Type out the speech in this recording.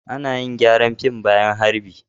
Ana yin gyaran fim bayan harbi.